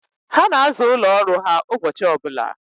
Ha na-aza ụlọ ọrụ ha ụbọchị ọbụla.